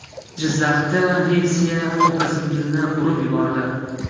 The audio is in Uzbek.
Jizzaxda Nexia opa-singilni urib yubordi.